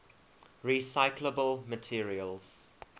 recyclable materials